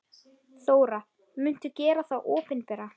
Þóra: Muntu gera þá opinbera?